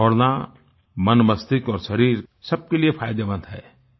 दौड़ना मनमस्तिष्क और शरीर सबके लिए फायदेमंद है